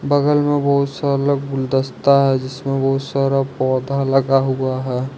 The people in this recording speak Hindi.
बगल में बहुत सारा गुलदस्ता है जिसमें सारा पौधा लगा हुआ है।